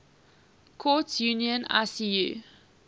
courts union icu